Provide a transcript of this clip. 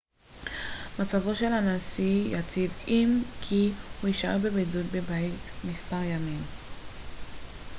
מצבו של הנשיא יציב אם כי הוא יישאר בבידוד בבית מספר ימים